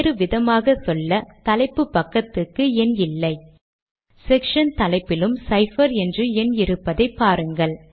நான் இதை என்கேசின்ஹாவுக்கு எழுதுகிறேன்